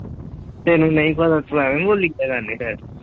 ਤੈਨੂੰ ਨਈ ਪਤਾ ਤੂੰ ਐਵੀਂ ਬੋਲੀ ਕਿਉਂ ਜਾਨੀ ਫੇਰ।